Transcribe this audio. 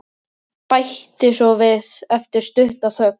Bætti svo við eftir stutta þögn.